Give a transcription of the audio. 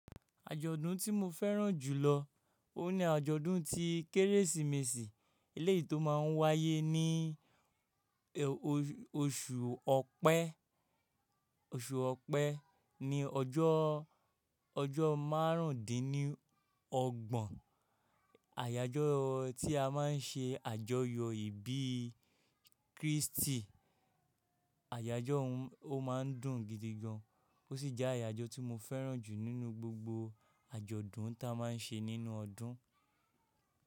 Àjọ̀dún tí mo fẹ́ràn jù lọ ó ní àjọ̀dún tí Kérésìmesì, eléyìí tó máa ń wáyé ní oṣù Ọ̀pẹ. Oṣù Ọ̀pẹ ni ọjọ́ ọjọ́ márùndínlọ́gbọ̀n. Àyájọ́ tí a máa ń ṣe àjọyọ̀ ìbí Kristi. Àyájọ́ ọ̀ún a má ń dùn gidi gan. Ó sì jẹ́ àyájọ́ tí mo fẹ́ràn jù nínú gbogbo àjọ̀dún ta máa ń ṣe nínú ọdún.